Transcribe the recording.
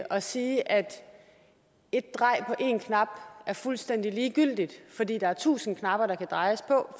at sige at ét drej på én knap er fuldstændig ligegyldigt fordi der er tusind knapper der kan drejes på